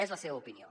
és la seva opinió